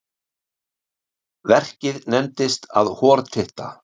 Verkið nefndist að hortitta.